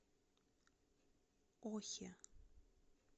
охе